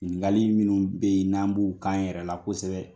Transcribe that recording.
Ɲinikali minnu be ye n'an b'o kɛ an yɛrɛ la kosɛbɛ